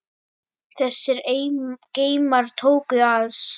Þessir geymar tóku alls